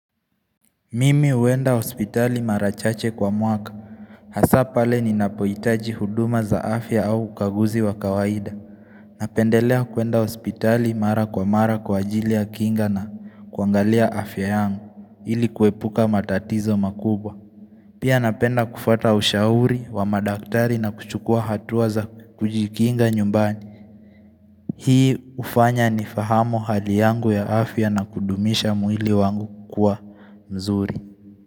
Mimi huenda hospitali mara chache kwa mwaka Hasa pale ninapojitaji huduma za afya au ukaguzi wa kawaida Napendelea kuenda hospitali mara kwa mara kwa ajili ya kinga na kuangalia afya yangu ili kuepuka matatizo makubwa Pia napenda kufuata ushauri wa madaktari na kuchukua hatua za kujikinga nyumbani Hii ufanya ni fahamu hali yangu ya afya na kudumisha mwili wangu kukua mzuri.